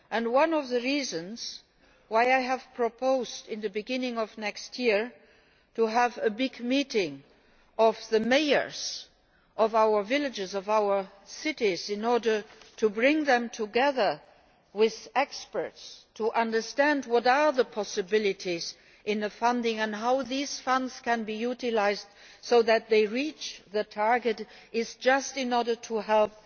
One of the reasons why I have proposed, at the beginning of next year, to have a big meeting of the mayors of our villages and cities, in order to bring them together with experts in order to understand what the funding possibilities are and how these funds can be utilised so that they reach the target, is just in order to